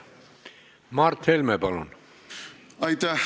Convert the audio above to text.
Mart Helme, palun!